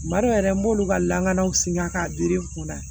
Tumadɔ yɛrɛ n b'olu ka lakanaw sin ŋa k'a di n kunna